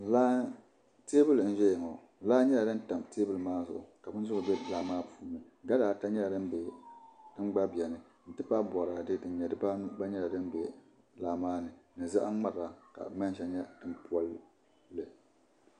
Teebuli n ʒɛya ŋo laa nyɛla din tam teebuli maa zuɣu ka bindirigu bɛ laa maa puuni gala ata nyɛla din bɛni n ti pahi boraadɛ din nyɛ dibanu gba bɛni laa maa ni ni zaham ŋmara ka manʒa nyɛ din polli